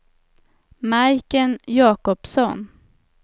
Majken Jacobsson